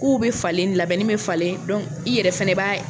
Kuw bɛ falen labɛnni bɛ falen i yɛrɛ fɛnɛ b'a ye